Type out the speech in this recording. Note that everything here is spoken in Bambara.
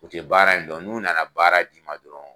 U tɛ baara in dɔn n'u na na baara d'i ma dɔrɔn